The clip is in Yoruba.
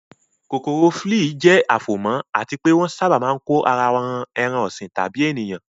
kokoro flii jẹ́ afomo àti pé wọ́n sábà máa ń kó ara won ran ẹran ọ̀sìn tàbí ènìyàn.